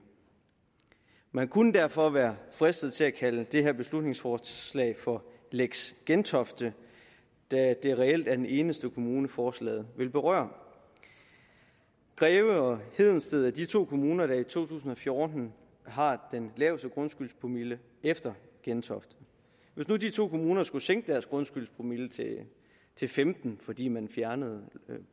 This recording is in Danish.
man kunne derfor være fristet til at kalde det her beslutningsforslag for lex gentofte da det reelt er den eneste kommune forslaget vil berøre greve og hedensted er de to kommuner der i to tusind og fjorten har den laveste grundskyldspromille efter gentofte hvis nu de to kommuner skulle sænke deres grundskyldspromille til femten fordi man fjernede